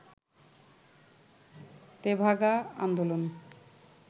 তেভাগা আন্দোলন